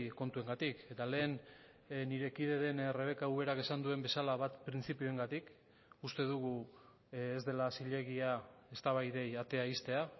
kontuengatik eta lehen nire kide den rebeka uberak esan duen bezala bat printzipioengatik uste dugu ez dela zilegia eztabaidei atea ixtea